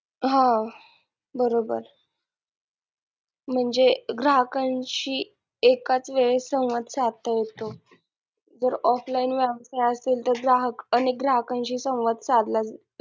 हा बरोबर म्हणजे ग्राहकांशी एकाच वेळी संवाद साधता येतो जर offline व्यवसाय असेल तर ग्राहक आणि ग्राहकांशी संवाद साधला,